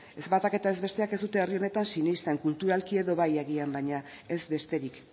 ez batak eta ez besteak ez dute herri honetan sinesten kulturalki edo bai agian baina ez besterik